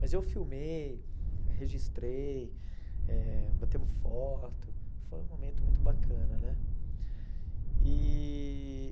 Mas eu filmei, registrei, eh batemos foto, foi um momento muito bacana, né? E